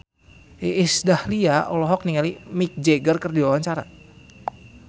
Iis Dahlia olohok ningali Mick Jagger keur diwawancara